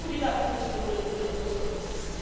But hopefully that political will will also exist.